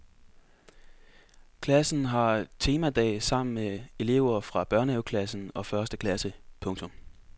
Klassen har temadag sammen med elever fra børnehaveklassen og første klasse. punktum